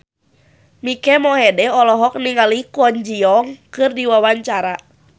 Mike Mohede olohok ningali Kwon Ji Yong keur diwawancara